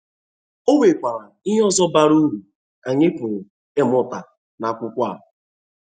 Ọ nwekwara ihe ọzọ bara ụrụ anyị pụrụ ịmụta n’akụkọ a.